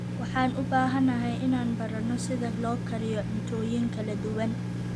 Waxaan u baahanahay inaan barano sida loo kariyo cuntooyin kala duwan.